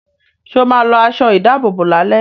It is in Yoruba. Sọ ma lọ aṣọ ìdábòbò lálẹ́?